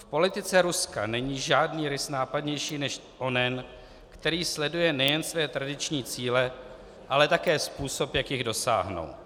V politice Ruska není žádný rys nápadnější než onen, který sleduje nejen své tradiční cíle, ale také způsob, jak jich dosáhnout.